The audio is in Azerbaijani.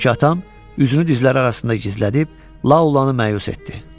Çünki atam üzünü dizləri arasında gizlədib La olanı məyus etdi.